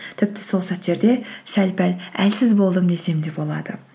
тіпті сол сәттерде сәл пәл әлсіз болдым десем де болады